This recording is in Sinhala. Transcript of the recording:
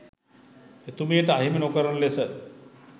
එතුමියට අහිමි නොකරන ලෙස